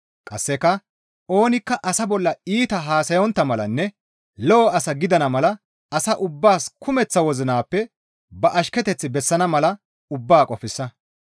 Qasseka oonikka asa bolla iita haasayontta malanne lo7o asa gidana mala asa ubbaas kumeththa wozinappe ba ashketeth bessana mala ubbaa qofsa.